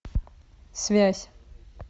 связь